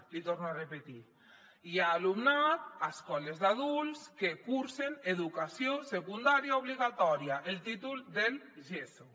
l’hi torno a repetir hi ha alumnat a escoles d’adults que cursen educació secundària obligatòria el títol del geso